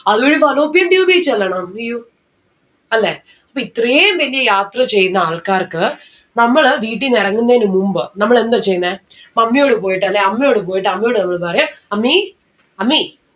അത് വഴി fallopian tube ഇ ചെല്ലണം ഉയ്യോ അല്ലെ അപ്പോ ഇത്രേം വെല്യ യാത്ര ചെയ്യുന്ന ആൾക്കാർക്ക് നമ്മള് വീട്ടീന്ന് എറങ്ങുന്നെന് മുമ്പ് നമ്മൾ എന്താ ചെയ്യിന്നെ mummy യോട് പോയിട്ട് അല്ലെ അമ്മയോട് പോയിട്ട് അമ്മയോട് നമ്മള് പറയും അമ്മീ അമ്മീ